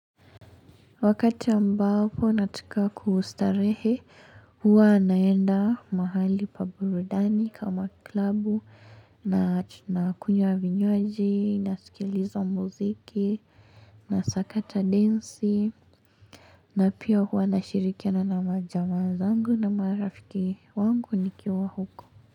Wakati ambako nataka kustarehe, huwa naenda mahali pa burudani kama klabu, nakunyawa vinywaji, nasikiliza muziki, nasakata densi, na pia huwa nashirikiana na majama zangu na marafiki wangu nikiwa huko.